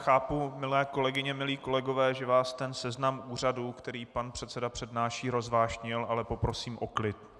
Chápu, milé kolegyně, milí kolegové, že vás ten seznam úřadů, který pan předseda přednáší, rozvášnil, ale poprosím o klid.